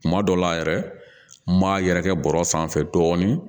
Kuma dɔw la yɛrɛ n m'a yɛrɛkɛ bɔrɔ sanfɛ dɔɔnin